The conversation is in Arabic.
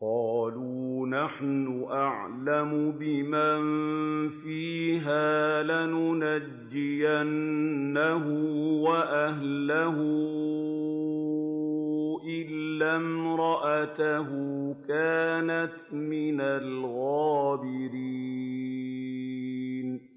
قَالُوا نَحْنُ أَعْلَمُ بِمَن فِيهَا ۖ لَنُنَجِّيَنَّهُ وَأَهْلَهُ إِلَّا امْرَأَتَهُ كَانَتْ مِنَ الْغَابِرِينَ